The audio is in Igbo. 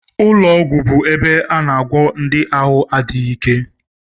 Ụlọọgwụ bụ ebe a na-agwọ ndị ahụ adịghị ike